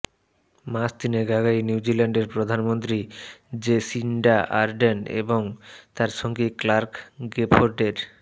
মাস তিনেক আগেই নিউজিল্যান্ডের প্রধানমন্ত্রী জেসিন্ডা আর্ডেন এবং তাঁর সঙ্গী ক্লার্ক গেফোর্ডের